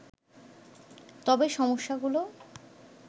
তবে সমস্যাগুলো